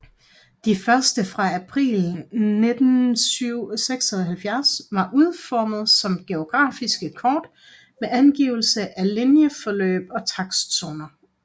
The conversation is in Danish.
De første fra april 1976 var udformet som geografiske kort med angivelse af linjeforløb og takstzoner